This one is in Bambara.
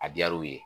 A diyar'u ye